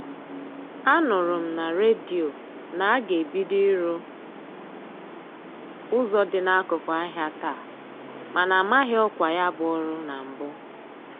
A nụrụ m na redio na-aga ebido ịrụ ụzọ dị n'akụkụ ahịa taa mana amaghị ọkwa ya bụ ọrụ na mbụ.